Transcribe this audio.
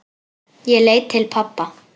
Ég leit til pabba.